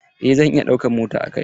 Eh zan iya ɗaukan mota a kai na.